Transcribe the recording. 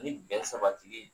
Ni bɛn sabatili